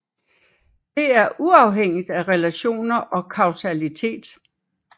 Det er uafhængigt af relationer og kausalitet